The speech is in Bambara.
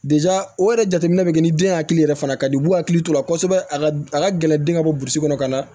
o yɛrɛ jateminɛ bɛ kɛ ni den hakili yɛrɛ fana ka di u hakili t'o la kosɛbɛ a ka a ka gɛlɛn den ka bɔ burusi kɔnɔ ka na